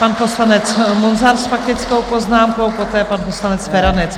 Pan poslanec Munzar s faktickou poznámkou, poté pan poslanec Feranec.